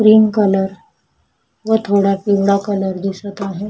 Cream colour व थोडा पिवळा कलर दिसत आहे.